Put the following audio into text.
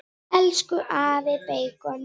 Elsku afi beikon.